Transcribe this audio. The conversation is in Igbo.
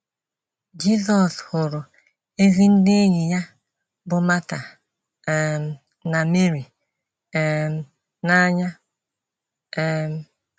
Jisọs hụrụ ezi ndị enyi ya bụ́ Mata um na Meri um n’anya. um